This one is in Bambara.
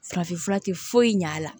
Farafinfura tɛ foyi ɲɛ a la